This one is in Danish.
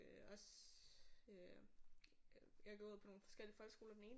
Øh også jeg har gået på nogle forskellige folkeskoler den ene